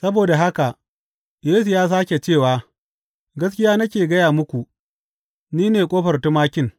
Saboda haka Yesu ya sāke cewa, Gaskiya nake gaya muku, ni ne ƙofar tumakin.